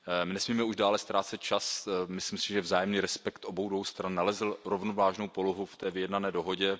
Nesmíme už dále ztrácet čas, myslím si, že vzájemný respekt obou dvou stran nalezl rovnovážnou polohu v té vyjednané dohodě.